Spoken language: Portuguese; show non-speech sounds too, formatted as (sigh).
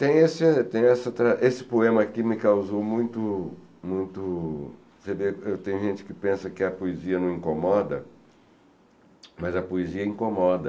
Tem esse essa tra esse poema aqui me causou muito muito... (unintelligible) Tem gente que pensa que a poesia não incomoda, mas a poesia incomoda.